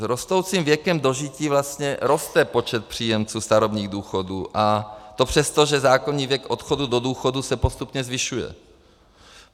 S rostoucím věkem dožití vlastně roste počet příjemců starobních důchodů, a to přesto, že zákonný věk odchodu do důchodu se postupně zvyšuje.